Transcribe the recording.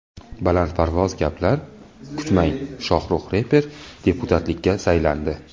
Balandparvoz gaplar kutmang Shohruh reper deputatlikka saylandi.